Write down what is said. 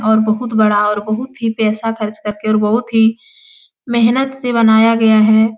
और बहुत बड़ा और बहुत ही पैसा खर्च करके और बहुत ही मेहनत से बनाया गया है।